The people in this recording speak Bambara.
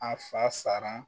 A fa sara